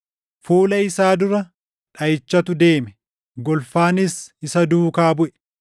Fuula isaa dura dhaʼichatu deeme; golfaanis isa duukaa buʼe.